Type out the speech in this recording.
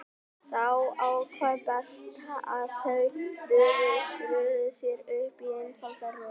Þá ákvað Berta að þau röðuðu sér upp í einfalda röð.